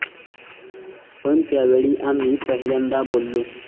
पण त्यावेळी आम्ही पहिल्यांदा बोललो'.